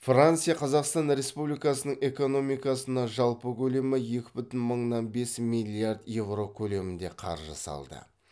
франция қазақстан республикасының экономикасына жалпы көлемі екі бүтін мыңнан бес миллиард еуро көлемінде қаржы салды